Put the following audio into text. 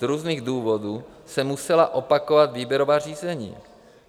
Z různých důvodů se musela opakovat výběrová řízení.